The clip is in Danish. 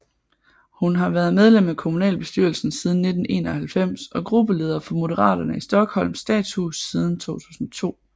Hun har været medlem af kommunalbestyrelsen siden 1991 og gruppeleder for Moderaterna i Stockholms Stadshus siden 2002